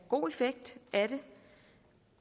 god effekt af det